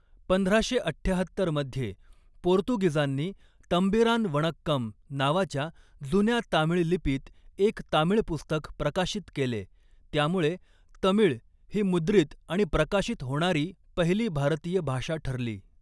पंधराशे अठ्ठ्याहत्तर मध्ये, पोर्तुगीजांनी 'तंबीरान वणक्कम' नावाच्या जुन्या तामिळ लिपीत एक तामिळ पुस्तक प्रकाशित केले, त्यामुळे तमिळ ही मुद्रित आणि प्रकाशित होणारी पहिली भारतीय भाषा ठरली.